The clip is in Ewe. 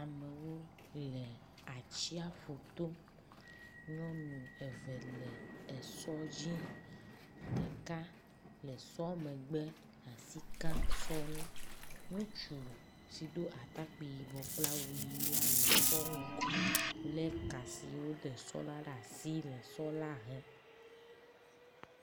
Amewo le atsiaƒuto. Nyɔnu eve le esɔ dzi ɖeka le sɔ megbe asi kam sɔ ŋu. Ŋutsu si do atakpi yibɔ kple awu ʋi la le sɔ ŋgɔ le ka siwo wode sɔ la ɖe asi le sɔ la hem.